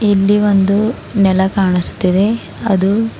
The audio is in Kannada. ಇಲ್ಲಿ ಒಂದು ನೆಲ ಕಾಣಸ್ತಿದೆ ಅದು--